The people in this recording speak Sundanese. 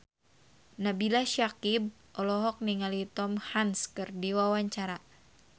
Nabila Syakieb olohok ningali Tom Hanks keur diwawancara